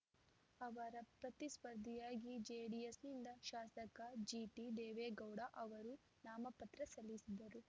ಅವರ ಪ್ರತಿಸ್ಪರ್ಧಿಯಾಗಿ ಜೆಡಿಎಸ್‌ನಿಂದ ಶಾಸಕ ಜಿಟಿದೇವೇಗೌಡ ಅವರೂ ನಾಮಪತ್ರ ಸಲ್ಲಿಸಿದರು